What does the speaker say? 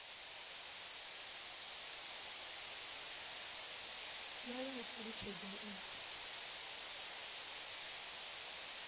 vha ya u talutshedza u